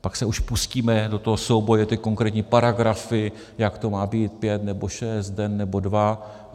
Pak se už pustíme do toho souboje, ty konkrétní paragrafy, jak to má být, pět nebo šest, den nebo dva.